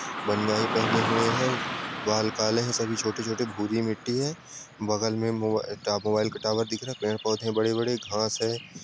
बनिया पहने हुए हैं बाल काले हैं सभी छोटे-छोटे भूरी मिट्टी हैं बगल में मोबाइल ट मोबाइल का टावर दिख रहा हैं पेड़ पौधे बड़े -बड़े घास हैं।